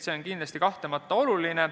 See on kindlasti kahtlemata oluline.